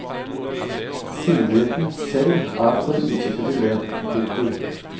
Sindigheten selv er for usikker til det. punktum